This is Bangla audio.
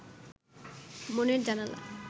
মনের জানালা